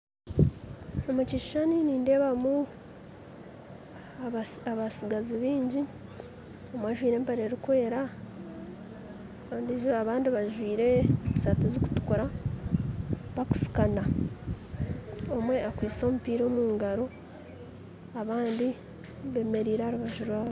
Omu kishushani nindeebamu abatsigazi baingi omwe ajwaire empare erikwera ondiijo abandi bajwaire esaati zirikutukura bakusikasikana omwe akwaitse omupiira omu ngaro abandi bemereire aha rubaju rwabo.